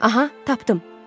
Aha, tapdım, tapdım.